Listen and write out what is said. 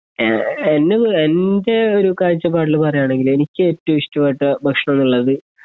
A എന്നെക്കുറി എൻ്റെ ഒരു കാഴ്ചപ്പാടില് പറയുകയാണെങ്കില് എനിക്ക് ഏറ്റവും ഇഷ്ടമായിട്ടു ഭക്ഷണന്നുള്ളത്